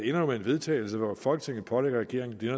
jo med en vedtagelse hvor folketinget pålægger regeringen det